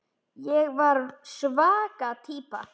Ég var svaka týpa.